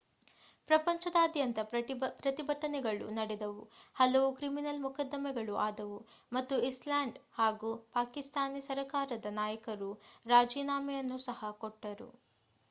ಪ್ರಪಂಚದಾದ್ಯಂತ ಪ್ರತಿಭಟನೆಗಳು ನಡೆದವು ಹಲವು ಕ್ರಿಮಿನಲ್ ಮೊಕದ್ದಮೆಗಳು ಆದವು ಮತ್ತು ಐಸ್ಲ್ಯಾಂಡ್ ಹಾಗೂ ಪಾಕಿಸ್ತಾನಿ ಸರ್ಕಾರಗಳ ನಾಯಕರು ರಾಜೀನಾಮೆಯನ್ನು ಸಹ ಕೊಟ್ಟರು